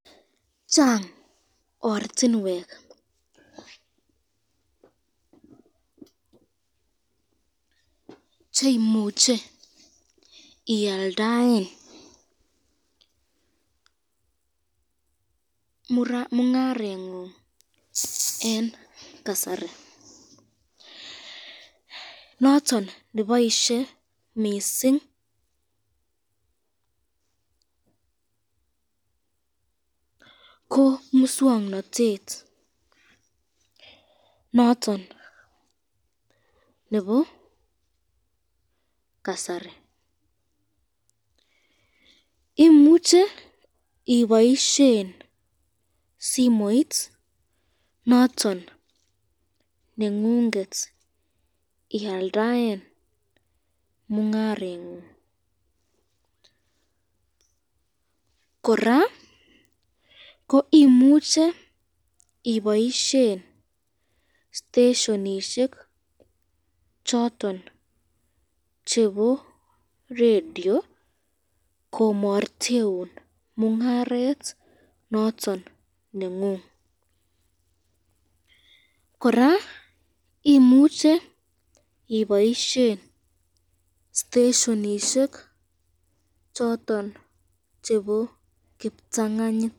Chang ortinwek cheimuche ialdaen mungarengung eng kasari, noton neboisye mising ko miswoknotet noton nebo kasari, imuche ibaisyen simoit noton nengunget ialdaen mungarengung, koraa ko imuch stasionishek choton chebo radio komarteun mungaret noton nengung ,koraa imuche ibosyen stashionishek chebo kiptanganyit.